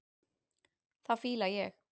Það fíla ég.